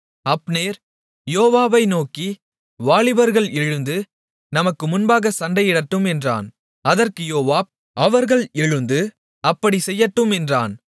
Abner யோவாபை நோக்கி வாலிபர்கள் எழுந்து நமக்கு முன்பாகச் சண்டையிடட்டும் என்றான் அதற்கு யோவாப் அவர்கள் எழுந்து அப்படிச் செய்யட்டும் என்றான்